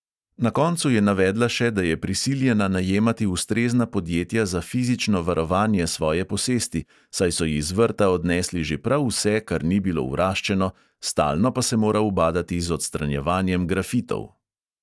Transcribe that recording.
Na koncu je navedla še, da je prisiljena najemati ustrezna podjetja za fizično varovanje svoje posesti, saj so ji z vrta odnesli že prav vse, kar ni bilo vraščeno, stalno pa se mora ubadati z odstranjevanjem grafitov.